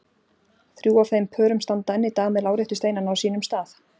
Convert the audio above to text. Þrjú af þeim pörum standa enn í dag með láréttu steinana á sínum stað.